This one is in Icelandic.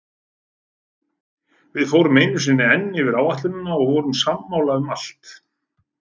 Við fórum einu sinni enn yfir áætlunina og vorum sammála um allt.